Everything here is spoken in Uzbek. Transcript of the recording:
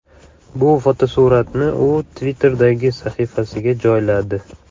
Bu fotosuratni u Twitter’dagi sahifasiga joyladi.